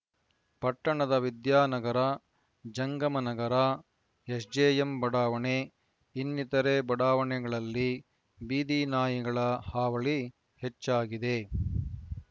ಪಟ್ಟಣದ ವಿದ್ಯಾನಗರ ಜಂಗಮ ನಗರ ಎಸ್‌ಜೆಎಂ ಬಡಾವಣೆ ಇನ್ನಿತರೇ ಬಡಾವಣೆಗಳಲ್ಲಿ ಬೀದಿನಾಯಿಗಳ ಹಾವಳಿ ಹೆಚ್ಚಾಗಿದೆ